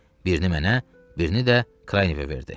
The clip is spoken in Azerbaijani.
Birini mənə, birini də Kva verdi.